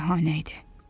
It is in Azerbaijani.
Şahanə idi.